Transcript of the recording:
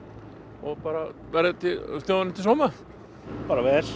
og bara verði þjóðinni til sóma bara vel